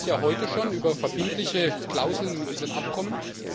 Wir tun das heute schon über verbindliche Klauseln in unseren Abkommen.